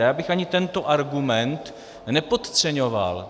A já bych ani tento argument nepodceňoval.